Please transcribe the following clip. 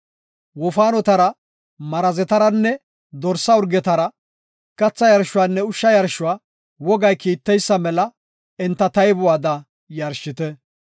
Wofaanotara, marazetaranne dorsa urgetara katha yarshuwanne ushsha yarshuwa wogay kiitteysa mela enta taybuwada yarshite.